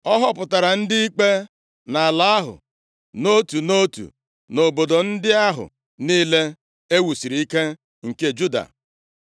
Ọ họpụtara ndị ikpe nʼala ahụ, nʼotu nʼotu nʼobodo ndị ahụ niile e wusiri ike nke Juda.